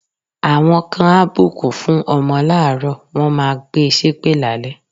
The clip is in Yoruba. Àwọn kan á bùkún fún ọmọ láàárọ̀, wọ́n máa gbe ṣépè lálẹ́.